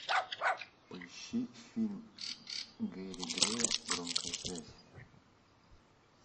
поищи фильм гэри грея громкая связь